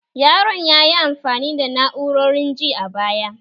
Yaron ya yi amfani da na'urorin ji a baya